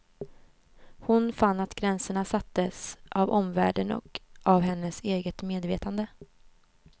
Hon fann att gränserna sattes av omvärlden och av hennes eget medvetande.